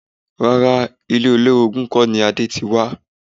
Rárá, ilé olórogún kọ́ ni Adé ti wá